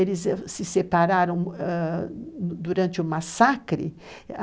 Eles se separaram ãh durante o massacre.